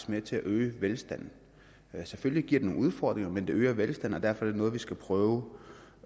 med til at øge velstanden selvfølgelig giver det nogle udfordringer men det øger velstanden og derfor er det noget vi skal prøve